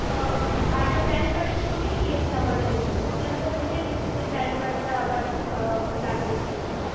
ওম আর একটা প্যান কার্ডের ছবিও নিছে। তুই একবার জিনে নিস প্যান কার্ডটা আবার লাগবে কিনা